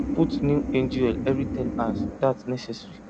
put new engine oil every ten hours that necessary